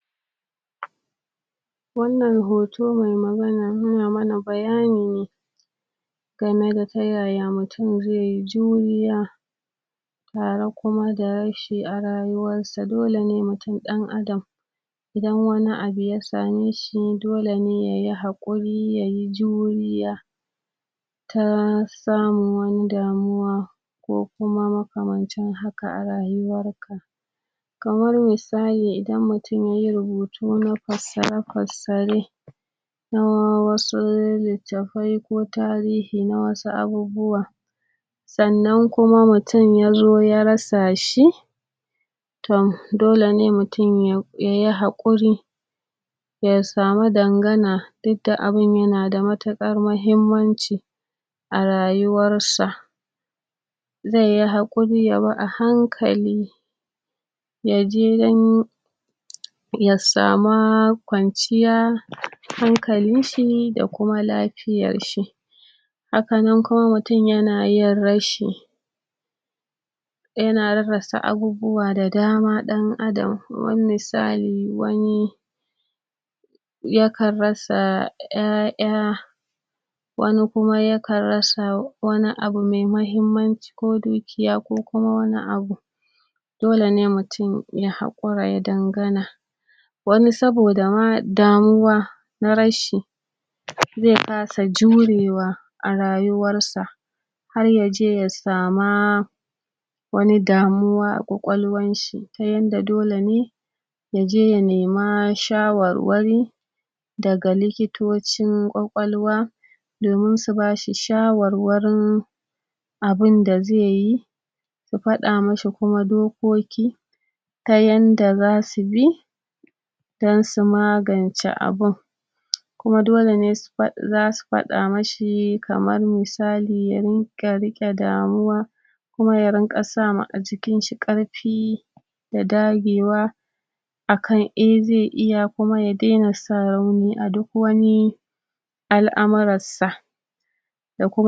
to hauka dai kala kala ne ko kuma ina tunanin haukan zahiri ko haukan yana da yawa wani ma zaka ga ba hauka ne tibiran ba yanzu mahaukaci bama se ka ganshi a mummunar shiga ko ka ganshi a bola ba sannan zaka gane mahaukaci ne sannan aƙwai abubuwan da suke haukata mutane ma mutum koda bama mahaukaci bane like shan ƙwaya haka kamar shan kayan maye kaga shima wannan yana haukata mutum yaro zeje ya ɗauki kayan mayen da yafi ƙarfin shi yasha se kaga ƙwaƙwalwa tazo ta samu matsala ana ta faman magani iyaye su shiga fama so haukan zamani yanzu dai yanzu dai haukan zamanin nan de da yake faruwa dai irin descent passion crest dai da yake faruwa da mutum be wuce dai shan kayan maye ba gaskiya shine abun da yake trending yanzu baga yara ba baga manya ba baga mata ba baga maza ba har ƴan mata har mata a gidajan auren su suma zaka ga suna ɗan taɓa wa se dai Allah ya kiya shemu Allah ya tsare amma dai gaskiya abun da yake faruwa presently yanzu harkar de shan kayan maye ce shaye shaye ne se wannan maganganun banza da suke faruwa akan shugabanni haka da baza ai magana cikakke akan su ba mutum zakaga yaje yashe ƙwayar shi yazo yana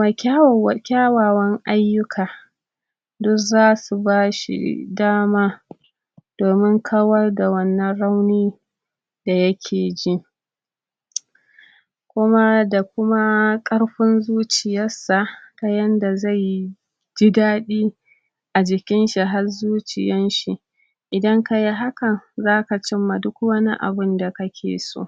zagi a gaban kowa baze ji ɗar ba baze ji komai ba se bayan kuma ta sake shi yazo yana dana sani wani kuma ma dama ƙwaƙwalwar ta riga da ta taɓu ya fara fita ma daga hayyacin sa hankali daman ba'a ma zancan shi yanzun shine haukan dana sani yana faruwa a zamanin nan da muke ciki wanda kuma muke zama babban damuwa ga al'umar mu a wannan lokacin